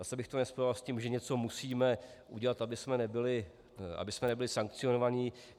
Zase bych to nespojoval s tím, že něco musíme udělat, abychom nebyli sankcionovaní.